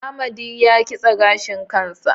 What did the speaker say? Amadi ya kitse gashin kansa